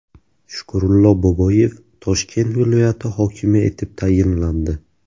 Shukurullo Boboyev Toshkent viloyati hokimi etib tayinlandi .